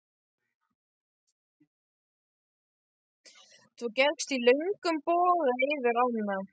Þú gekkst í löngum boga yfir ána.